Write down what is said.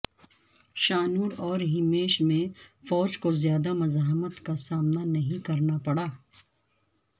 شانور اور ہمیش میں فوج کو زیادہ مزاحمت کا سامنا نہیں کرنا پڑا